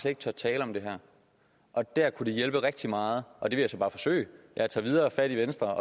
ikke tør tale om det her og der kunne det hjælpe rigtig meget og det vil jeg så bare forsøge at tage fat i venstre